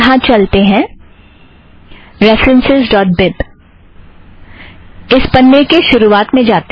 यहाँ चलते हैं रेफ़रन्सस् ड़ॉट बिब - इस पन्ने के शुरुवात में जाते हैं